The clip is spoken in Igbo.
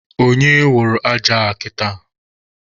Onye wụrụ aja a kịta?